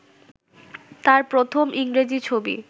তাঁর প্রথম ইংরেজি ছবি